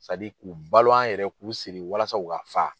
k'u balo an yɛrɛ k'u siri walasa u ka fa.